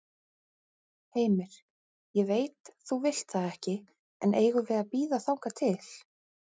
Heimir: Ég veit þú vilt það ekki, en eigum við að bíða þangað til?